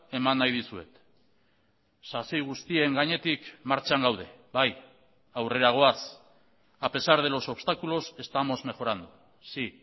eman nahi dizuet sasi guztien gainetik martxan gaude bai aurrera goaz a pesar de los obstáculos estamos mejorando sí